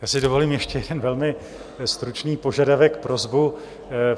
Já si dovolím ještě jeden velmi stručný požadavek, prosbu.